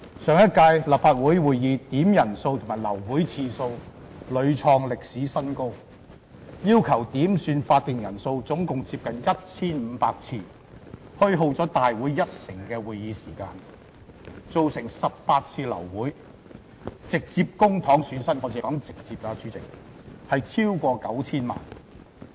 上屆立法會會議點算法定人數及流會次數屢創歷史新高，要求點算法定人數總共接近 1,500 次，虛耗了立法會一成的會議時間，造成18次流會，直接公帑損失——主席，我只是說直接的損失——超過 9,000 萬元。